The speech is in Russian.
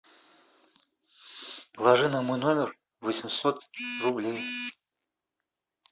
положи на мой номер восемьсот рублей